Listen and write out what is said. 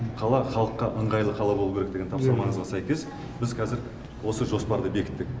қала халыққа ыңғайлы қала болуы керек деген тапсырмаңызға сәйкес біз қазір осы жоспарды бекіттік